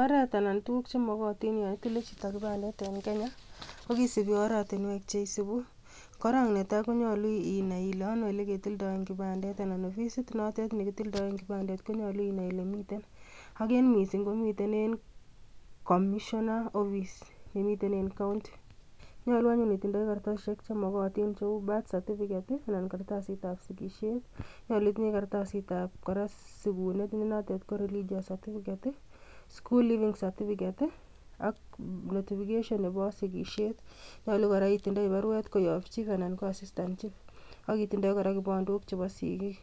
Oret anan tuguk chemokootin Yoon itilee chito kipandet en kenyaa, ko kisiibi oratinwek cheisibu. Korong netai, konyoolu inai ile onoo oleketildoen kipandet, anan ofisit notet nekitildoen kipandet konyoolu inai elemiten. Ak en missing komiten en commissioner office nemitem en countii. Nyolu anyu itindoi kartasisiek chemokotin cheu kartasisiek ab sigisiet, nyolu Kora itindo kartasitab sigunet nenotet kekuren, baptism certificate, school leaving certificates ak notification nebo sigisiet, nyolu kora itindoi baruet koyoob chief anan ko assistant chief. Ak itindoi kora kipandook chebo sigiik,